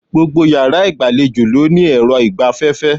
Gbogbo yàrá ìgbàlejò ló ní èrọ ìgbaféfé